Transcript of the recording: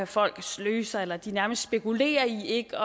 folk sløser eller nærmest spekulerer i ikke